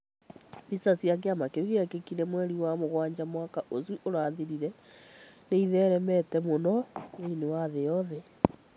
Mbica ya kĩama kĩu kĩrĩa gĩekĩkire mweri wa mugwanja mwaka ũcio ũrathirire nĩ ĩtheremetemũno thĩinĩ wa thĩ yothe.